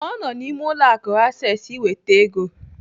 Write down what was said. Ọ nọ n'ime ụlọ akụ Access iweta ego.